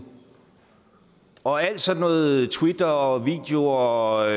og alt sådan noget som twitter og videoer og